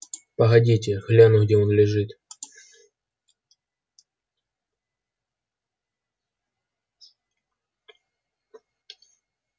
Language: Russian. погодите гляну где он лежит